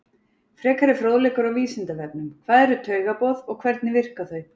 Frekari fróðleikur á Vísindavefnum: Hvað eru taugaboð og hvernig verka þau?